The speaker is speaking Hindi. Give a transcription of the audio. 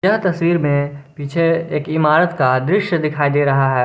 यह तस्वीर में पीछे एक इमारत का दृश्य दिखाई दे रहा है।